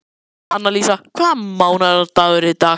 Annalísa, hvaða mánaðardagur er í dag?